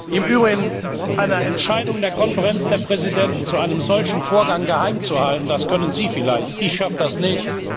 Im Übrigen Eine Entscheidung der Konferenz der Präsidenten zu einem solchen Vorgang geheimzuhalten, das können Sie vielleicht, ich schaffe das nicht.